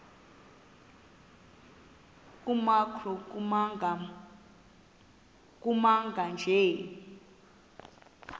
nkr kumagama anje